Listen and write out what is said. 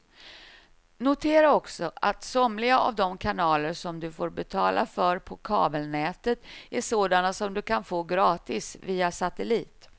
Notera också att somliga av de kanaler som du får betala för på kabelnätet är sådana som du kan få gratis via satellit.